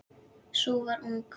Sú var ung!